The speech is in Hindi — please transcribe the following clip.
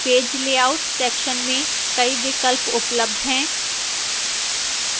page layout section में कई विकल्प उपलब्ध हैं